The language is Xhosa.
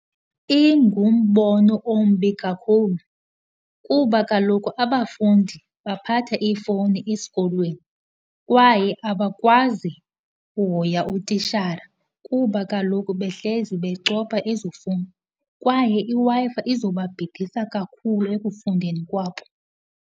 Ingumbono ombi kakhulu kuba kaloku abafundi baphatha iifowuni esikolweni kwaye abakwazi uhoya utitshara kuba kaloku behlezi becofa ezi fowuni, kwaye iWi-Fi izoba bhidisa kakhulu ekufundeni kwabo.